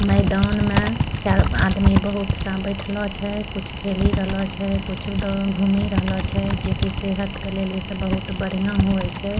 मैदान में चार आदमी बहुत सा बेठोलो छै कुछ खेली रहलो छै कुछु द घूमी रहलो छै जेकी सेहत के लेली से बहुत बढ़िया होये छै।